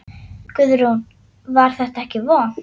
Guðrún: Var þetta ekki vont?